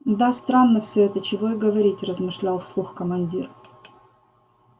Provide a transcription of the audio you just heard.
да странно всё это чего и говорить размышлял вслух командир